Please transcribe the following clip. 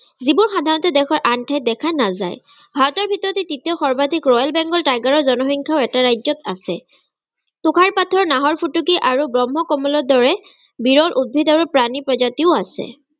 যিবোৰ সাধাৰণতে দেশৰ আন ঠাইত দেখা নাযায়। ভাৰতৰ ভিতৰতে তৃতীয় সৰ্বাধিক royal begal tiger ৰ জনসংখ্যা এটা ৰাজ্যত আছে। তুষাৰপাতৰ নাহৰফুটুকী আৰু ব্ৰক্ষ্ম-কমলৰ দৰে বিৰল উদ্ভিদ আৰু প্ৰাণীৰ প্ৰজাতিও আছে।